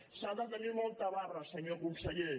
s’ha de tenir molta barra senyor conseller